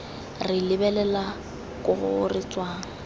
re lebelela ko re tswang